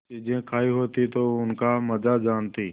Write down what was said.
चीजें खायी होती तो उनका मजा जानतीं